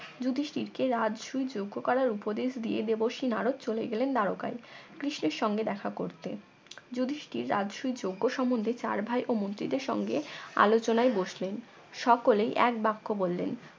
যুধিষ্টির কে রাজসুই যোগ্য করার উপদেশ দিয়ে দেবর্ষি নারদ চলে গেলেন দ্বারকায় কৃষ্ণের সঙ্গে দেখা করতে যুধিষ্টির রাজসুই যজ্ঞ সম্বন্ধে চার ভাই ও মন্ত্রীদের সঙ্গে আলোচনায় বসলেন সকলেই এক বাক্য বললেন